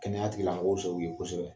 Kɛnɛyatigi lamɔgɔw sɔnn'u ye kosɛbɛ!